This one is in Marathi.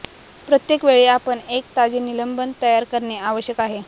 प्रत्येक वेळी आपण एक ताजे निलंबन तयार करणे आवश्यक आहे